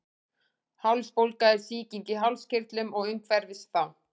Hálsbólga er sýking í hálskirtlum og umhverfis þá.